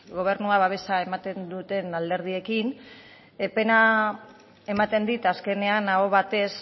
gobernua baietza ematen duten alderdiekin pena ematen dit azkenean ahoz batez